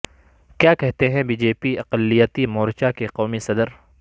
کیا کہتے ہیں بی جے پی اقلیتی مورچہ کے قومی صدر